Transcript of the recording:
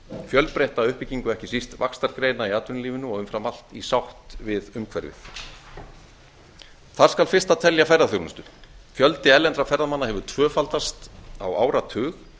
fjölbreytta uppbyggingu ekki síst vaxtargreina í atvinnulífinu og umfram allt í sátt við umhverfið þar skal fyrsta telja ferðaþjónustu fjöldi erlendra ferðamanna hefur tvöfaldast á áratug